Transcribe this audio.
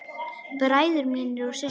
Bræður mínir og systur.